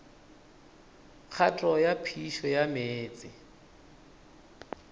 kgato ya phišo ya meetse